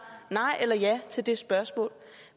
nej eller ja til det spørgsmål